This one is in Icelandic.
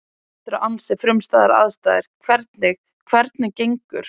Þetta eru ansi frumstæðar aðstæður, hvernig, hvernig, gengur?